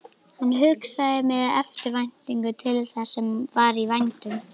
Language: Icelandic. Hann hugsaði með eftirvæntingu til þess sem var í vændum.